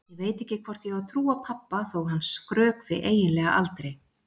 Ég veit ekki hvort ég á að trúa pabba þó að hann skrökvi eiginlega aldrei.